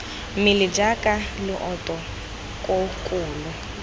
mmele jaaka leoto koo kolo